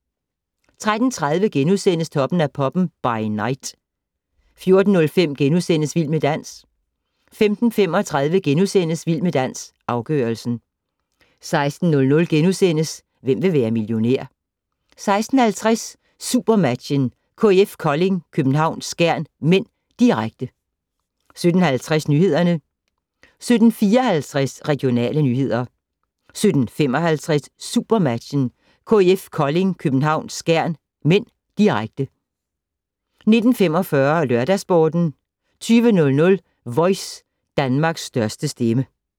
13:30: Toppen af poppen - by night * 14:05: Vild med dans * 15:35: Vild med dans - afgørelsen * 16:00: Hvem vil være millionær? * 16:50: SuperMatchen: KIF Kolding København-Skjern (m), direkte 17:50: Nyhederne 17:54: Regionale nyheder 17:55: SuperMatchen: KIF Kolding København-Skjern (m), direkte 19:45: LørdagsSporten 20:00: Voice - Danmarks største stemme